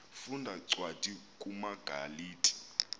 funda cwadi kumagalati